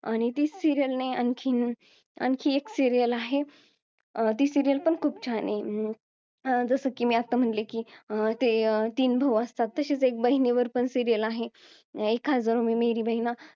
आणि तीच serial नाही आणखीन आणखी एक serial आहे ती serial पण खूप छान आहे जसं की मी आत्ता म्हणले की तीन भाऊ असतात तशीच एक बहिणीवर पण serial आहे हजारो मे मेरी बेहना